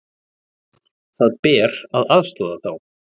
Það ber að aðstoða þá.